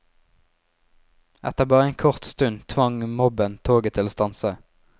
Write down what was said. Etter bare en kort stund tvang mobben toget til å stanse.